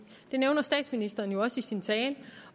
det nævner statsministeren også i sin tale